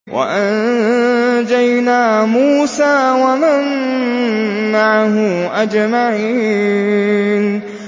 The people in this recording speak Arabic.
وَأَنجَيْنَا مُوسَىٰ وَمَن مَّعَهُ أَجْمَعِينَ